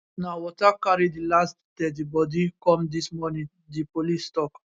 na water carry di last deadi bodi come dis morning di police tok